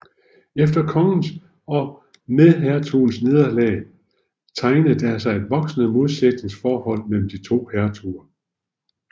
Efter kongens og medhertugens nederlag tegnede der sig et voksende modsætningsforhold mellem de to hertuger